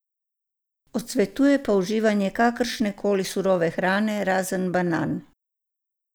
Odsvetuje pa uživanje kakršne koli surove hrane razen banan.